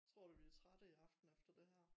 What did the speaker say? Tror du vi trætte i aften efter det her